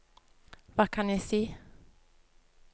hva kan jeg si